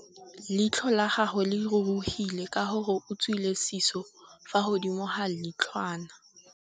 Leitlhô la gagwe le rurugile ka gore o tswile sisô fa godimo ga leitlhwana.